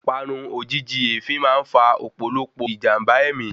Parun ojìjijì èéfín máa ń fa òpòlopò ijamba ẹ̀mí